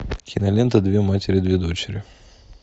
кинолента две матери две дочери